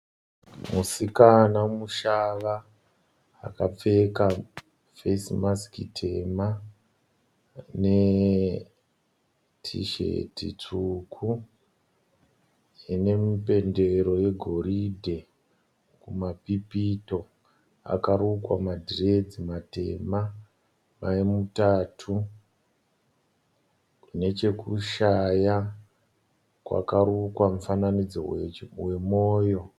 Musikana mushava akapfeka fesi masiki tema netisheti tsvuku ine mupendero wegoridhe kumapipito. Akarukwa madhiredzi matema mamutatu. Nechekushaya kwakarukwa mufananidzo wemoyo.